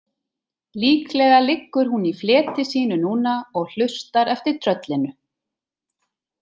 Líklega liggur hún í fleti sínu núna og hlustar eftir tröllinu.